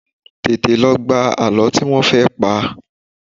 Tètè lọ gbọ́ àlọ́ tí wọ́n fẹ́ pa!